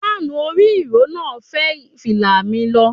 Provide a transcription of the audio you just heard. Fáànù orí ìró náà fẹ́ fìlà mi lọ.